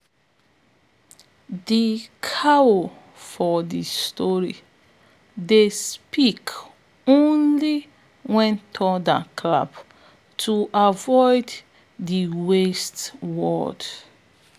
de cow for de story dey speak only wen thunder clap to avoid to dey waste words